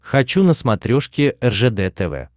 хочу на смотрешке ржд тв